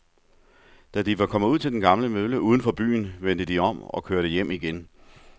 Da de var kommet ud til den gamle mølle uden for byen, vendte de om og kørte hjem igen.